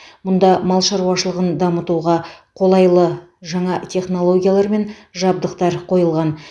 мұнда мал шаруашылығын дамытуға қолайлы жаңа технологиялар мен жабдықтар қойылған